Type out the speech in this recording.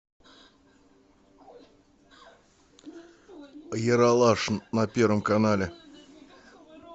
ералаш на первом канале